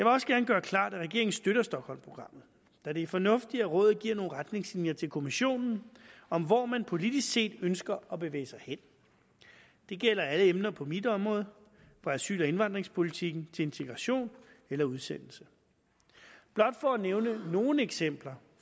også gerne gøre klart at regeringen støtter stockholmprogrammet da det er fornuftigt at rådet giver nogle retningslinjer til kommissionen om hvor man politisk set ønsker at bevæge sig hen det gælder alle emner på mit område på asyl og indvandringspolitikken til integration eller udsendelse blot for at nævne nogle eksempler